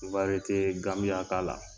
Ibaretee ganbi y'a k'a la..